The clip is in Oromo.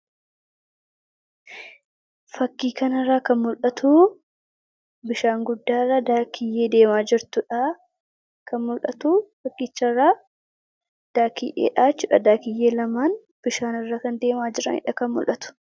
Fakkii kana irraa kan mul'atu bishaan guddaarra Daakkiyyee deemaa jirtudha. Kan mul'atu fakkicharraa Daakkiyyeedha jechuudha. Daakkiyyee lamaan bishaan irra kan deemaa jiranidha kan mul'atu.